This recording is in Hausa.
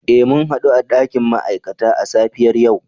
Eh mun hadu a dakin ma'aikata a safiyar yau